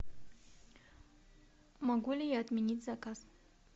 могу ли я отменить заказ